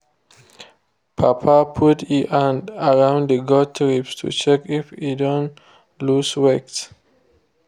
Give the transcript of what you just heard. papa put e hand around the goat’s ribs to check if e don loose weight.